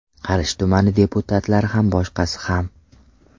Qarshi tumani deputatlari ham boshqasi ham.